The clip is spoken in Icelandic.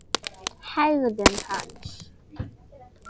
Hegðun hans?